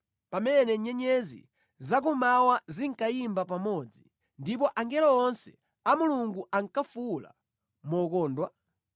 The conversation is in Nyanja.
pamene nyenyezi za kummawa zinkayimba pamodzi ndipo angelo onse a Mulungu ankafuwula mokondwa?